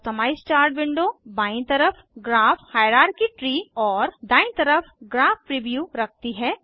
customise chart window बायीं तरह graph hierarchy tree और दायीं तरफ ग्राफ प्रीव्यू रखती है